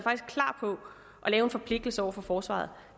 lave en forpligtelse over for forsvaret